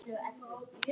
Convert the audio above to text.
Þá kem ég